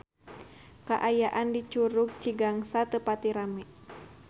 Kaayaan di Curug Cigangsa teu pati rame